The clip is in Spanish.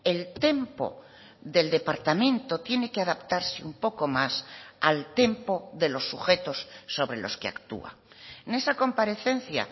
el tempo del departamento tiene que adaptarse un poco más al tempo de los sujetos sobre los que actúa en esa comparecencia